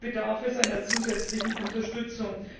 Hier bedarf es einer zusätzlichen Unterstützung.